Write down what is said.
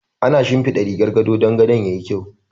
Ana shinfiɗa rigar gado dan gadon yayi kyau.